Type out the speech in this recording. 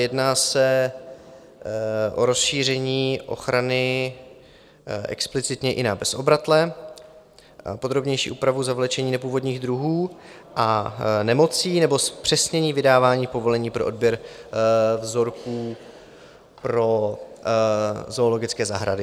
Jedná se o rozšíření ochrany explicitně i na bezobratlé, podrobnější úpravu zavlečení nepůvodních druhů a nemocí nebo zpřesnění vydávání povolení pro odběr vzorků pro zoologické zahrady.